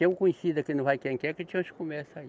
Tem um conhecido aqui no vai quem quer que te acha um comércio aí.